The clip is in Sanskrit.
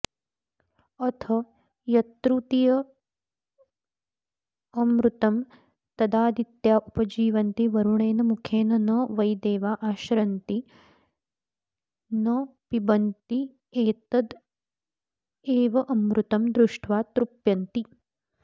अथ यत्तृतीयममृतं तदादित्या उपजीवन्ति वरुणेन मुखेन न वै देवा अश्नन्ति न पिबन्त्येतदेवामृतं दृष्ट्वा तृप्यन्ति